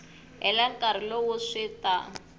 hela nkarhi lowu swi ta